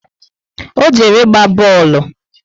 O jere ịgba boolu